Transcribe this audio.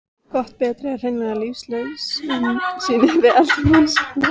Gott bretti er hreinlega lífsnauðsyn við eldamennskuna.